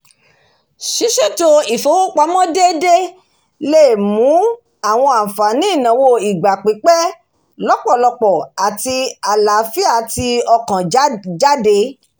ṣíṣètò ìlànà ìfowópamọ́ déédéè lè mú àwọn àǹfààní ìnáwó ìgbà pípẹ̀ lọ́pọ̀lọpọ̀ àti àlàáfíà ti ọkàn jáde